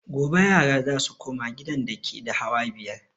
Gobe yara za su koma gidan dake da hawa biyar